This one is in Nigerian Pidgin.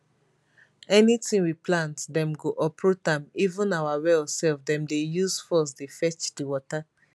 anytin we plant dem go uproot am even our well sef dem dey use force dey fetch di water